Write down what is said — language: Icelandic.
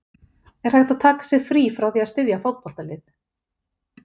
Er hægt að taka sér frí frá því að styðja fótboltalið?